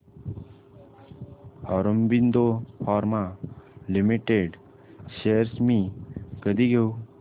Aurobindo pharma limited shares मी कधी घेऊ